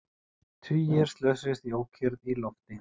Tugir slösuðust í ókyrrð í lofti